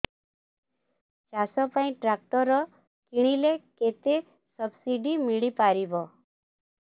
ଚାଷ ପାଇଁ ଟ୍ରାକ୍ଟର କିଣିଲେ କେତେ ସବ୍ସିଡି ମିଳିପାରିବ